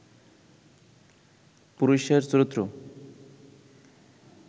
পুরুষের চরিত্র